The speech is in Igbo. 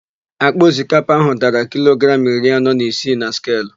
Àkpà osikapa áhụ̀ dara kilogramụ iri anọ na isii na skelu.